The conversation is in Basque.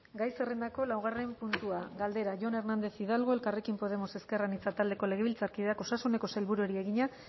gai zerrendako laugarren puntua galdera jon hernández hidalgo elkarrekin podemos ezker anitza taldeko legebiltzarkideak osasuneko sailburuari egina